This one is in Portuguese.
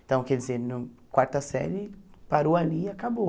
Então, quer dizer, na quarta série, parou ali e acabou.